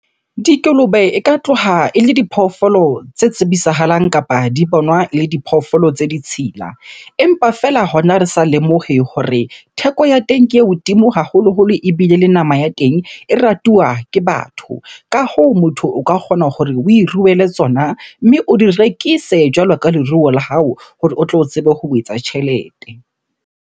Dikolobe e ka tloha ele diphoofolo tse tsebisahalang kapa di bonwa ele diphoofolo tse ditshila. Empa feela hona re sa lemohe hore theko ya teng ke e hodimo haholoholo ebile le nama ya teng e ratuwa ke batho. Ka hoo, motho o ka kgona hore oe ruele tsona, mme o di rekise jwalo ka leruo la hao hore o tlo tsebe ho etsa tjhelete.